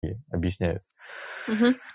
и объясняю угу